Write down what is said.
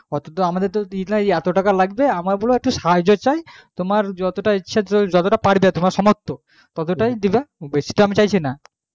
আমাদের তো ই না এতো টাকা লাগবে আমাদের একটু সাহায্য চাই তুমি যতটা পারবে তোমার সামর্থ ততটাই দেবা আমি বাসি তো চাইছি না